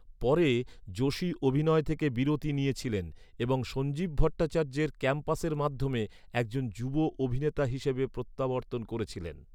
পরে, যোশি অভিনয় থেকে বিরতি নিয়েছিলেন এবং সঞ্জীব ভট্টাচার্যের 'ক্যাম্পাসের' মাধ্যমে একজন যুব অভিনেতা হিসাবে প্রত্যাবর্তন করেছিলেন।